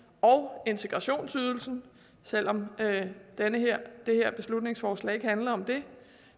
og integrationsydelsen selv om det det her beslutningsforslag ikke handler om det